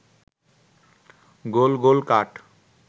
গোল গোল কাঠ